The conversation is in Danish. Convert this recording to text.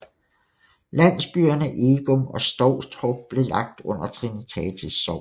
Landsbyerne Egum og Stovstrup blev lagt under Trinitatis Sogn